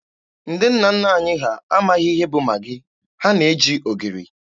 Ndị nna nna anyị ha amaghị ihe bụ Magị, ha na-eji ogiri.